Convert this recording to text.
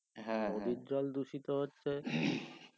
নদীর জল দূষিত হচ্ছে